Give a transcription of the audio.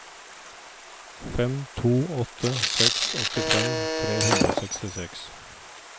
fem to åtte seks åttifem tre hundre og sekstiseks